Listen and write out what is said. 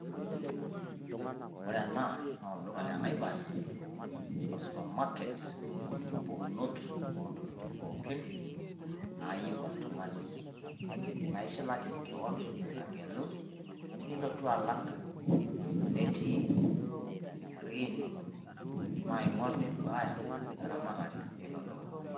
Ore ena naa olduka le Naivas o supermarket otii mpukunot oo ntokitin pookin naayieu oltung`ani. Naa ishilaki kewon agelu nilotu alak netii screens naing`orr neduaya eramatare ilo duka.